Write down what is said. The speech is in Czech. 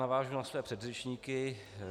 Navážu na své předřečníky.